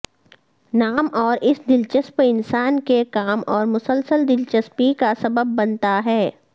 نام اور اس دلچسپ انسان کے کام اور مسلسل دلچسپی کا سبب بنتا ہے